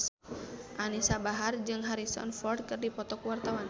Anisa Bahar jeung Harrison Ford keur dipoto ku wartawan